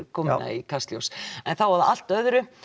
koma hingað í Kastljós þá að allt öðru